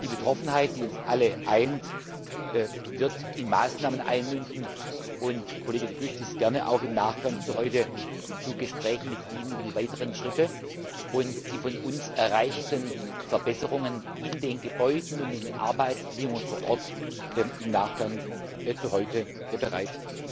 Die Betroffenheit, die uns alle eint, wird in Maßnahmen münden, und Kollege De Gucht ist gerne auch im Nachgang zu heute zu Gesprächen mit Ihnen über die weiteren Schritte und die von uns erreichten Verbesserungen in den Gebäuden und in den Arbeitsbedingungen vor Ort bereit.